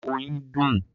Oyin dùn.